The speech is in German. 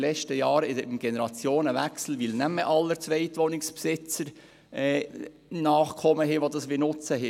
Nach dem Generationenwechsel haben nicht mehr alle Zweitwohnungsbesitzer Nachkommen, die ein Chalet nutzen wollen.